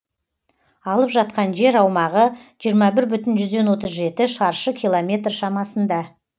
алып жатқан жер аумағы жиырма бір бүтін жүзден отыз жеті шаршы километр шамасында